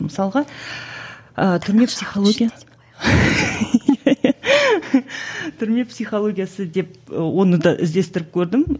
мысалға ыыы түрме психология түрме психологиясы деп оны да іздестіріп көрдім